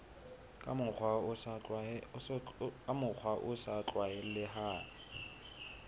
ka mokgwa o sa tlwaelehang